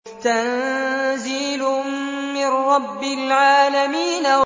تَنزِيلٌ مِّن رَّبِّ الْعَالَمِينَ